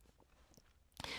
DR K